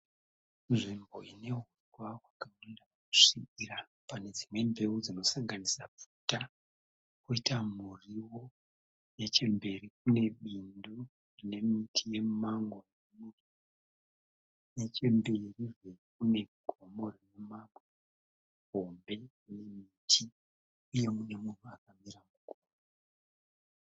Nzvimbo ine huswa hwakapinda kusvibira pane dzimwe mbeu dzinosanganisira pfuta koita murio nechemberi kune Bindu nemiti yemumango. Nechemberi zve kune gomo